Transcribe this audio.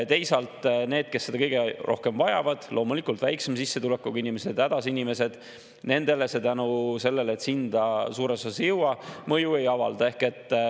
Teisalt nendele, kes seda kõige rohkem vajavad – loomulikult väiksema sissetulekuga inimesed, hädas inimesed –, see tänu sellele, et see hinda suures osas ei jõua, mõju ei avalda.